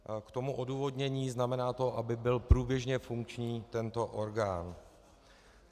K tomu odůvodnění: Znamená to, aby byl průběžně funkční tento orgán.